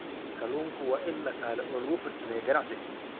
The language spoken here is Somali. Kalluunku waa il dhaqaale oo lagu farsameeyo ganacsiyada.